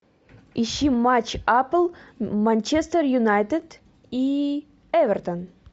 ищи матч апл манчестер юнайтед и эвертон